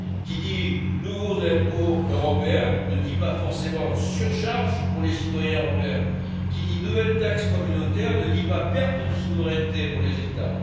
Qui dit nouveaux impôts européens ne dit pas forcément surcharge pour les citoyens européens. Qui dit nouvelle taxe communautaire ne dit pas perte de souveraineté pour les États.